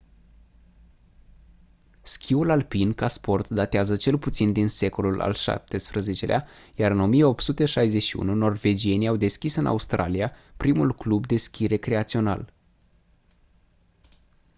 schiul alpin ca sport datează cel puțin din secolul al xvii-lea iar în 1861 norvegienii au deschis în australia primul club de schi recreațional